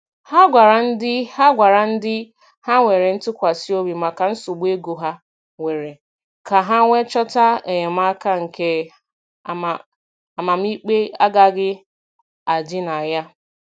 Ha gwara ndị Ha gwara ndị ha nwere ntụkwasị obi maka nsogbu ego ha nwere, ka ha wee chọta enyemaka nke amamikpe agaghị adị na ya.